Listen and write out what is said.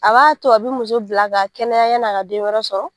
A b'a to a bɛ muso bila ka kɛnɛya yanni a ka den wɛrɛ sɔrɔ